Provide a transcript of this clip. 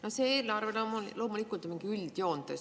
No see eelarve loomulikult on üldjoontes.